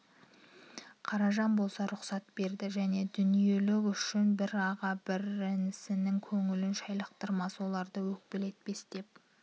қаражан болса рұқсат берді және дүниеліқ үшін бір аға бір інісінің көңілін шайлықтырмас оларды өкпелетпес деп